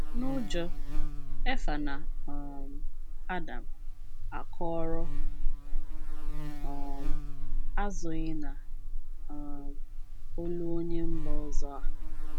N’ụjọ, Efa na um Adam akọrọ um azụghị na um olu onye mba ọzọ a.